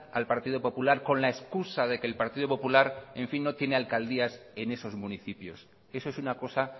al partido popular con la excusa que el partido popular no tiene alcaldías en esos municipios eso es una cosa